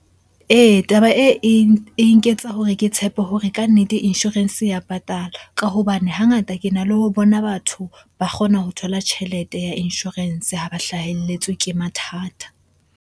Ee, taba e, e nketsa hore ke tshepe hore kannete insurance ya patala ka hobane hangata ke na le ho bona batho ba kgona ho thola tjhelete ya insurance ha ba hlaheletswe ke mathata.